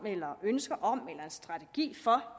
eller ønsker om eller en strategi for